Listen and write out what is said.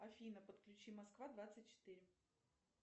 афина подключи москва двадцать четыре